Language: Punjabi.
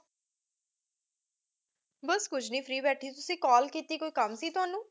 ਬੱਸ ਕੁਝ ਨਹੀਂ free ਬੈਠੀ ਸੀ ਤੁਸੀਂ call ਕੀਤੀ ਸੀ ਕੋਈ ਕੰਮ ਸੀ ਤੁਹਾਨੂੰ?